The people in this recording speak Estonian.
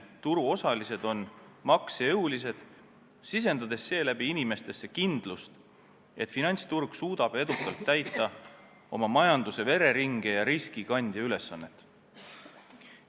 Turuosalised on maksejõulised, sisendades seeläbi inimestesse kindlust, et finantsturg suudab edukalt täita oma majanduse vereringe ja riskikandja ülesannet.